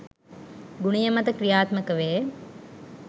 ගුණය මත ක්‍රියාත්මක වේ